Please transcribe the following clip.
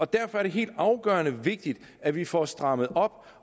derfor er det helt afgørende vigtigt at vi får strammet op